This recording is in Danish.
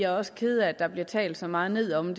også kede af at der bliver talt så meget ned om